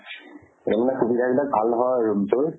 তাৰ মানে সুবিধা বিলাক ভাল নহয় room টোৰ